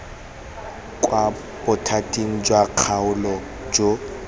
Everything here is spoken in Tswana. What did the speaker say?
kwa bothating jwa kgaolo jo